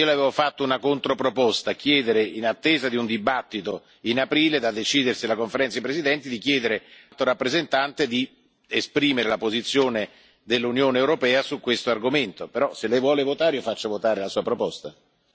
Io Le avevo fatto una controproposta chiedere, in attesa di un dibattito in aprile, da decidersi alla Conferenza dei presidenti, all'Alto rappresentante di esprimere la posizione dell'Unione europea su questo argomento, però se Lei vuole votare io faccio votare la Sua proposta.